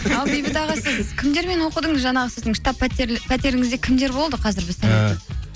сіз кімдермен оқыдыңыз жаңағы сіздің штаб пәтеріңізде кімдер болды қазір біз